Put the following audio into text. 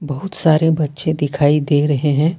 बहुत सारे बच्चे दिखाई दे रहे हैं।